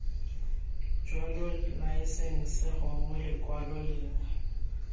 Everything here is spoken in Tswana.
jalo laesense gongwe lekwalo lengwe